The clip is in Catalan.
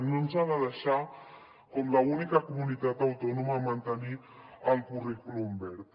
no ens ha de deixar com l’única comunitat autònoma mantenir el currículum verd